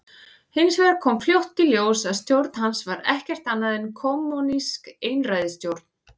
Hins vegar kom fljótt í ljós að stjórn hans var ekkert annað en kommúnísk einræðisstjórn.